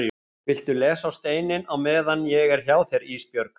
Viltu lesa á steininn á meðan ég er hjá þér Ísbjörg?